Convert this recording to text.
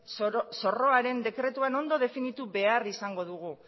zorroaren dekretuan ondo definitu behar izango dugu